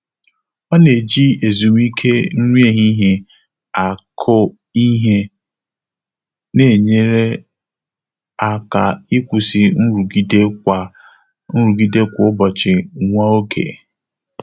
Ọ́ nà-éjí ézùmíké nrí éhíhíé ákụ́ íhé, nà-ényéré áká ị́kwụ́sị́ nrụ́gídé kwá nrụ́gídé kwá ụ́bọ̀chị̀ nwá ògé.